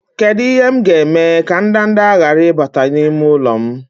Kedu ihe m ga-eme ka ndanda ghara ịbata n'ime ụlọ m?